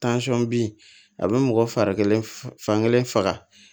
bin a bɛ mɔgɔ farikolo fan kelen faga